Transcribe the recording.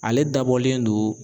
Ale dabɔlen don